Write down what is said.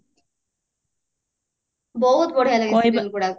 ବହୁତ ବଢିଆ ଲାଗେ serial ଗୁଡାକ